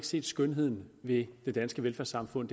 set skønheden ved det danske velfærdssamfund